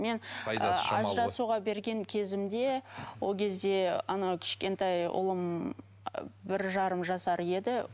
мен ы ажырасуға берген кезімде ол кезде анау кішкентай ұлым ыыы бір жарым жасар еді